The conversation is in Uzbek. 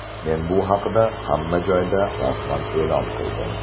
Men bu haqida hamma joyda rasman e’lon qildim.